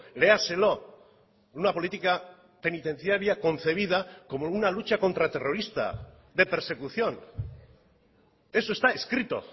léaselo una política penitenciaria concebida como una lucha contra terrorista de persecución eso está escrito